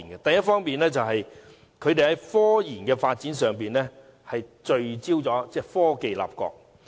第一方面，他們在科研發展上聚焦於以科技立國。